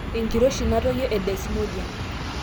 enkiroshi natoyio e desmodium